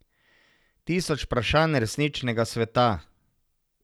Tisoč vprašanj resničnega sveta.